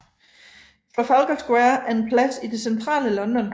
Trafalgar Square er en plads i det centrale London